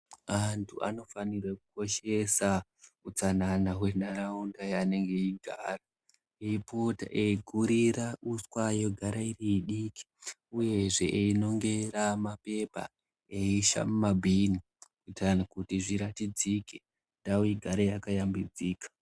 Antu vanofanira kukoshesa utsanana wenharaunda yavanenge veigara eipota eigurira uswa rogara riri idike uyezve ipota einongera marara eisa mumabhini ndau igare yakashambidzika.